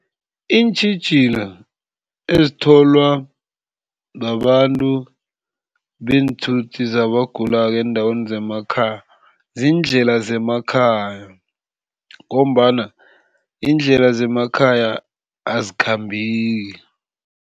Iintjhijilo ezitholwa babantu beenthuthi zabagulako eendaweni zemakhaya, ziindlela zemakhaya ngombana, iindlela zemakhaya azikhambeki.